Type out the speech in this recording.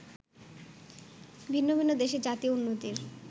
ভিন্ন ভিন্ন দেশে জাতীয় উন্নতির